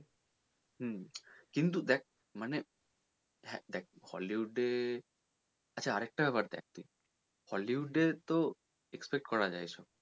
হুম কিন্তু দেখ মানে দেখ হ্যাঁ hollywood এ আচ্ছা আরেকটা ব্যাপার দেখ তুই hollywood এ তো expect করা যায় এইসব।